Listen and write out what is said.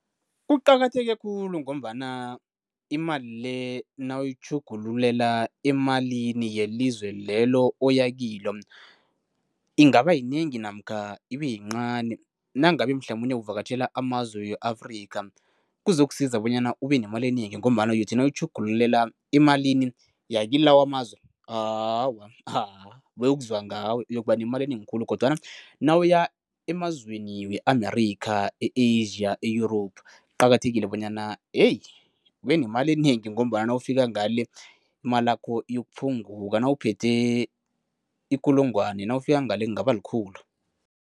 Kuqakatheke khulu ngombana imali le nawuyitjhugululela emalini yelizwe lelo oyakilo, ingaba yinengi namkha ibeyincani. Nangabe mhlamunye uvakatjhela amazwe we-Afrika, kuzokusiza bonyana ubenemali enengi ngombana uyothi nawutjhugululela emalini yakulawa amazwe, awa bayokuzwa ngawe, uyokuba nemali enengi khulu kodwana nawuya emazweni we-America, e-Asia, e-Europe, kuqakathekile bonyana heyi ubenemali enengi ngombana nawufika ngale imalakho iyokuphungula. Nawuphethwe ikulungwana nawufika ngale kungaba likhulu.